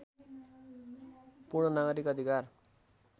पूर्ण नागरिक अधिकार